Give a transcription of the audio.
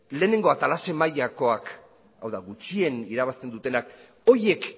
lehenengo atala zein mailakoak hau da gutxien irabazten dutenak horiek